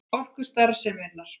Orku til starfseminnar.